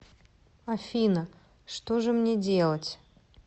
афина что же мне делать